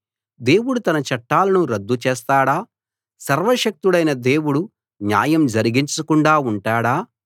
దేవుడు తన చట్టాలను రద్దు చేస్తాడా సర్వశక్తుడైన దేవుడు న్యాయం జరిగించకుండా ఉంటాడా